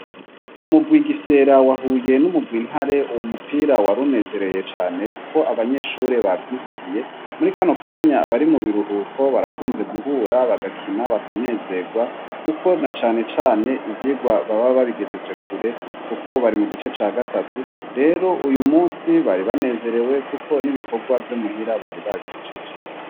Umugwi igifyera wahuye n'umugwi intare uwu mupira wari unezereye cane, kuko abanyeshure bavyivugiye muri kano kanya bari mu biruhuko barakunze guhura bagakina bakanezerwa, kuko na canecane ivyirwa baba babigejeje kure, kuko bari mu gice ca gatatu rero uyu musi bari banezerewe we, kuko n'ibikorwa vyo muhira bari babihijeje.